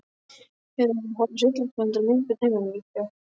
Hefurðu verið að horfa á hryllingsmyndir á myndböndum heima hjá